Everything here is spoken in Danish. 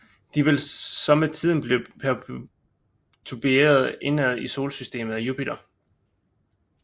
De vil så med tiden blive pertuberet indad i solsystemet af Jupiter